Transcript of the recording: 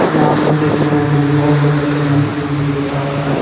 यहाँ पे देख रहे हैं जो की बहुत प्रकार का मछली बिक्रेता हो रहा है।